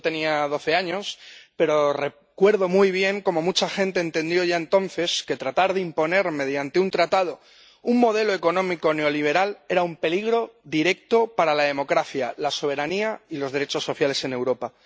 Yo tenía doce años, pero recuerdo muy bien cómo mucha gente entendió ya entonces que tratar de imponer, mediante un tratado, un modelo económico neoliberal era un peligro directo para la democracia, la soberanía y los derechos sociales en Europa.